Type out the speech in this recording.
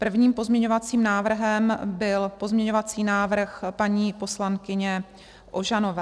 Prvním pozměňovacím návrhem byl pozměňovací návrh paní poslankyně Ožanové.